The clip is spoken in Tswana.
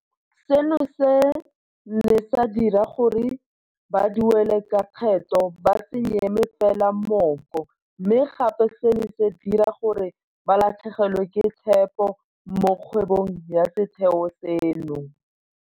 Seno se ne sa dira gore baduelalekgetho ba se nyeme fela mooko, mme gape se ne sa dira gore ba latlhegelwe ke tshepo mo kgwebong ya setheo seno.